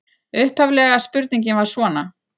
Upphaflega spurningin var svona: